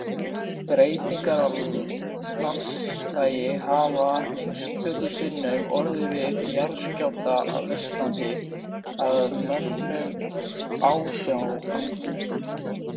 Breytingar á landslagi hafa einstöku sinnum orðið við jarðskjálfta á Íslandi að mönnum ásjáandi.